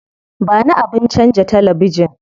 Ba ni abin canza talabijin.